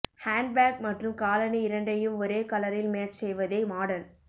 handbag மற்றும் காலணி இரண்டையும் ஒரே கலரில் மேட்ச் செய்வதே மாடர்ன்